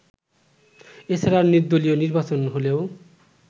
এছাড়া নির্দলীয় নির্বাচন হলেও